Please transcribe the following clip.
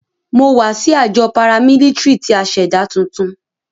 Mo wa si ajọ paramilitary ti a ṣẹda tuntun.